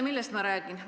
Millest ma räägin?